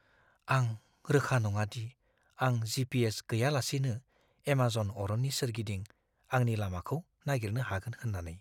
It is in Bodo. आं रोखा नङा दि आं जी.पी.एस. गैयालासेनो एमेज'न अरननि सोरगिदिं आंनि लामाखौ नागिरनो हागोन होन्नानै।